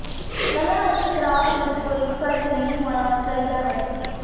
ਕਲਾ ਅਤੇ ਕਰਾਫਟ ਵਿੱਚ ਕੋਈ ਫਰਕ ਨਹੀਂ ਹੋਣਾ ਚਾਹੀਦਾ ਹੈ